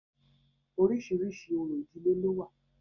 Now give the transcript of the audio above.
Oríṣiríṣi orò ìdílé ló wà